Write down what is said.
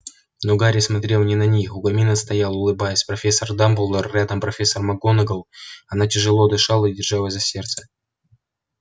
но гарри смотрел не на них у камина стоял улыбаясь профессор дамблдор рядом профессор макгонагалл она тяжело дышала и держалась за сердце